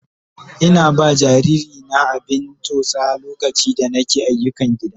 Ina ba jariri na abin tsotsa lokaci da nake ayyukan gida.